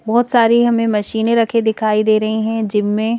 बहुत सारी हमें मशीनें रखे दिखाई दे रही हैं जिम में।